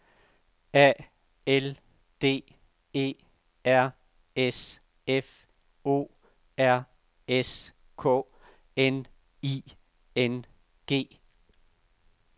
A L D E R S F O R S K N I N G